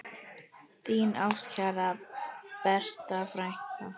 Þín ástkæra Berta frænka.